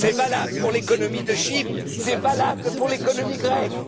C'est valable pour l'économie de Chypre, c'est valable pour l'économie grecque!